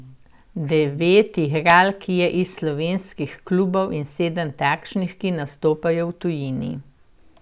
Devet igralk je iz slovenskih klubov in sedem takšnih, ki nastopajo v tujini.